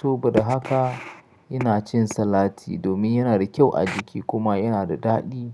so ba da haka ina cin salati domin yana da kyau a jiki kuma yana da daɗi.